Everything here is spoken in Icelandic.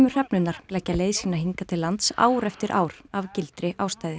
hrefnurnar leggja leið sína hingað til lands ár eftir ár af gildri ástæðu